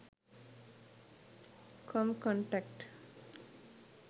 com contact